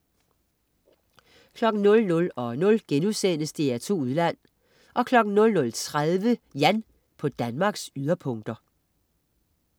00.00 DR2 Udland* 00.30 Jan på Danmarks yderpunkter